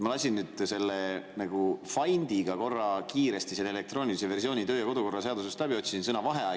Ma lasin "Findiga" korra kiiresti töö‑ ja kodukorra seaduse elektroonilise versiooni läbi, otsisin sõna "vaheaeg".